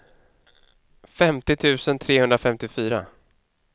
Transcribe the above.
femtio tusen trehundrafemtiofyra